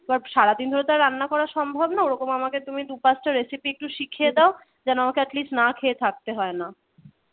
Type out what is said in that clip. সারাদিন ধরে তো আর রান্না করা সম্ভব না, ওরকম আমাকে তুমি দু'পাঁচ টা recipe একটু শিখিয়ে দাও যেন আমাকে atleast না খেয়ে থাকতে হয় না।